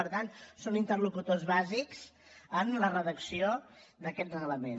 per tant són interlocutors bàsics en la redacció d’aquest reglament